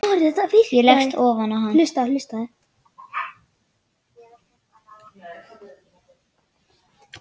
Ég leggst ofan á hann.